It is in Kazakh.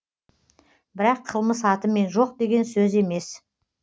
бірақ қылмыс атымен жоқ деген сөз емес